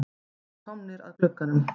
Við erum komnir að glugganum.